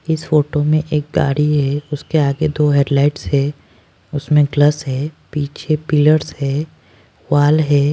इस फोटो में एक गाड़ी है उसके आगे दो हेडलाइट्स है उसमें ग्लस है पीछे पिलर्स है वाल है।